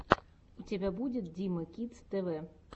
у тебя будет дима кидс тв